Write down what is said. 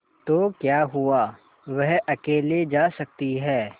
तो क्या हुआवह अकेले जा सकती है